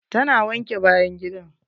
Ta na wanke bayan gidan.